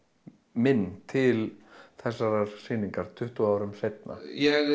minn til þessarar sýningar tuttugu árum seinna ég